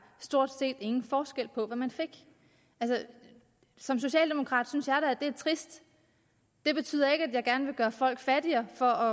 stort set ingen forskel var på hvad man fik altså som socialdemokrat synes at det er trist det betyder ikke at jeg gerne vil gøre folk fattigere for